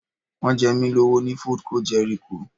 Wọ́n jẹ mí lówó ní Foodco Jẹ́ríkò